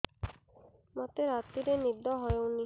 ମୋତେ ରାତିରେ ନିଦ ହେଉନି